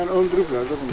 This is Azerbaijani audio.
Yəni öldürüblər də bunu?